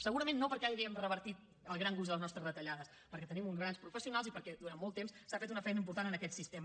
segurament no perquè hàgim revertit el gran gruix de les nostres retallades perquè tenim uns grans professionals i perquè durant molt temps s’ha fet una feina important en aquest sistema